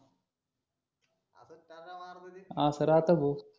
असं राहतं भाऊ